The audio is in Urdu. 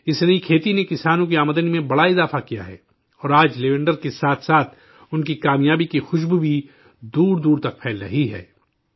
اس نئی کھیتی نے کسانوں کی آمدنی میں بڑا اضافہ کیا ہے، اور آج لیونڈر کے ساتھ ساتھ ان کی کامیابی کی خوشبو بھی دور دور تک پھیل رہی ہے